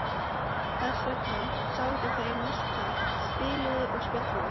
Þess vegna sátu þau mest þar, spiluðu og spjölluðu.